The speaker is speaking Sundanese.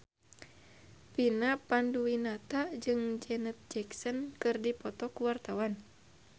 Vina Panduwinata jeung Janet Jackson keur dipoto ku wartawan